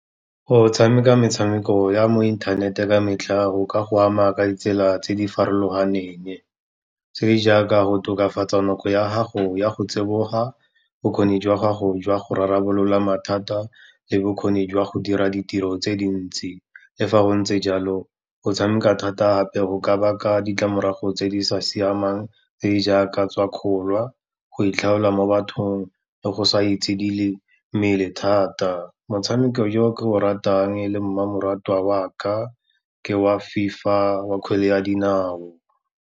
Go tshameka metshameko ya mo inthanete ka metlha, go ka go ama ka ditsela tse di farologaneng tse di jaaka go tokafatsa nako ya gago ya go tsiboga, bokgoni jwa gago jwa go rarabolola mathata le bokgoni jwa go dira ditiro tse dintsi. Le fa go ntse jalo, go tshameka thata ape go ka baka ditlamorago tse di sa siamang tse di jaaka tswakgola, go itlhaola mo bathong le go sa itshidile mmele thata. Motshameko jo ke o ratang le mmamoratwa wa ka, ke wa FIFA wa kgwele ya dinao.